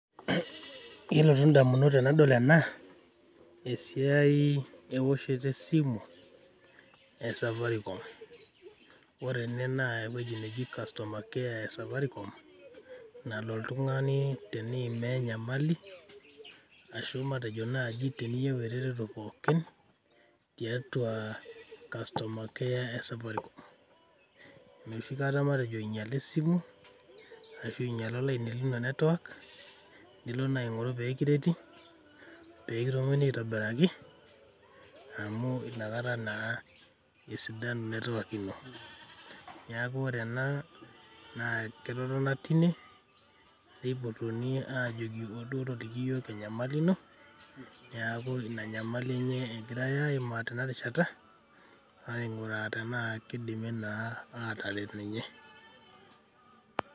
Kelotu in`damunot tenadol ena esiai ewoshoto e simu e safaricom. Ore ene naa ewueji naji customer care e safaricom nalo oltung`ani teniima enyamali ashu matejo naaji teniyieu eretoto pookin tiatua customer care e safaricom. Enoshi kata matejo inyiale esimu ashu inyiale olaini lino network nilo naa aing`oru pee kireti pee kitumokini aitobiraki amu inakata naa esidanu network ino. Niaku ore ena naa ketotona teine neipotuni aajoki ou duo toliki iyiok enyamali ino. niaku ina nyamali enye egirai aimaa tena rishata aing`uraa tenaa kidimi naa ataret ninye.